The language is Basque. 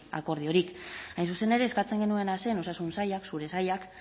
akordiorik hain zuzen ere eskatzen genuena zen osasun sailak zure sailak